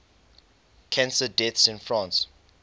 cancer deaths in france